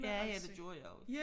Ja ja det gjorde jeg også